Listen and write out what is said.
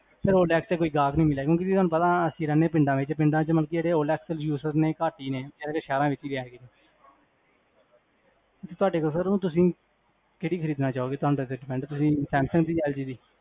sir OLX ਚ ਕੋਈ ਗਾਹਕ ਨਹੀਂ ਮਿਲਿਆ, ਅਸੀਂ ਰਹਿੰਦੇ ਹਾਂ ਪਿੰਡ ਵਿਚ, ਪਿੰਡ ਚ OLXuser ਘੱਟ ਹੀ ਹੈਗੇ ਨੇ, ਸਹਿਰਾ ਵਿਚ ਹੀ ਹੈਗੇ ਨੇ